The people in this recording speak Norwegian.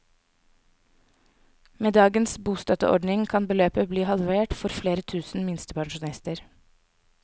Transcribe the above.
Med dagens bostøtteordning kan beløpet bli halvert for flere tusen minstepensjonister.